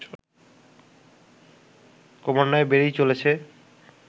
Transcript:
ক্রমান্বয়ে বেড়েই চলেছে